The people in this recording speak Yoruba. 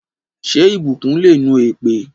Ṣé ìbùkún le nu èpè?